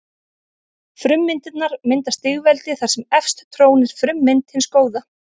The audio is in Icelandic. Frummyndirnar mynda stigveldi þar sem efst trónir frummynd hins góða.